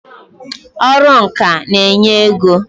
Ọrụ ǹkà n'enye ego